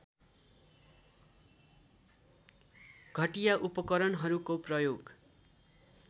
घटिया उपकरणहरूको प्रयोग